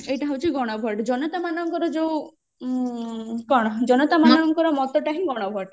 ଏଇଟା ହଉଛି ଗଣ vote ଜନତା ମାନଙ୍କର ଯୋଉ ଉଁ କଣ ଜନତା ମାନଙ୍କର ମତ ଟା ହିଁ ଗଣ vote